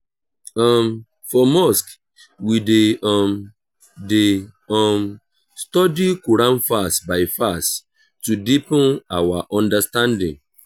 um for mosque we dey um dey um study quran verse by verse to deepen our understanding.